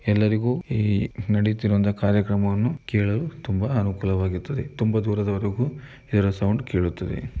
ಎಲ್ಲರಿಗೂ ಇಲ್ಲಿ ನಡಿಯುತ್ತಿರುವ ಕಾರ್ಯಕ್ರಮವನ್ನುಕೇಳಲು ತುಂಬಾ ಅನುಕೂಲವಾಗಿರುತ್ತೆ ತುಂಬಾ ದೂರದವರೆಗೂ ಇದರ ಸೌಂಡ್‌ ಕೇಳುತ್ತದೆ.